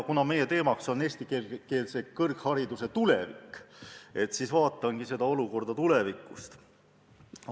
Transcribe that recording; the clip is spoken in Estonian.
Kuna meie teemaks on eestikeelse kõrghariduse tulevik, siis vaatangi seda olukorda tulevikust lähtudes.